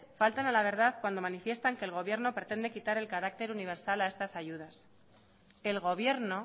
faltan a la verdad cuando manifiestan que el gobierno pretende quitar el carácter universal a estas ayudas el gobierno